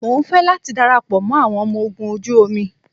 Mo ń fẹ́ láti darapọ̀ mọ́ àwọn ọmọ ogun ojú omi